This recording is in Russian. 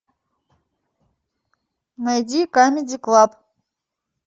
найди камеди клаб